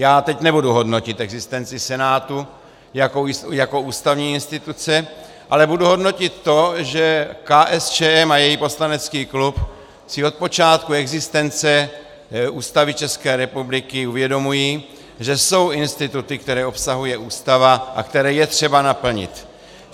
Já teď nebudu hodnotit existenci Senátu jako ústavní instituce, ale budu hodnotit to, že KSČM a její poslanecký klub si od počátku existence Ústavy České republiky uvědomují, že jsou instituty, které obsahuje Ústava a které je třeba naplnit.